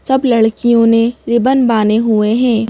सब लड़कियों ने रिबन बाने हुए हैं।